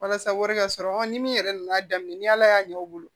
Walasa wari ka sɔrɔ ni min yɛrɛ nan'a daminɛ ni ala y'a ɲɛw bolo